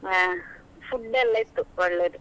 ಹಾ food ಎಲ್ಲ ಇತ್ತು ಒಳ್ಳೆದು.